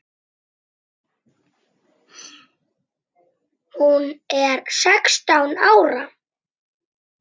Hún er sextán ára.